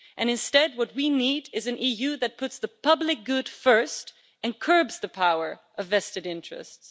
Instead of this, what we need is an EU that puts the public good first and curbs the power of vested interests.